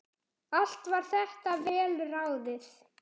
Allt var þetta vel ráðið.